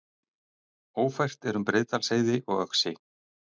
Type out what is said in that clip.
Ófært er um Breiðdalsheiði og Öxi